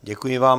Děkuji vám.